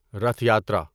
Rath Yatra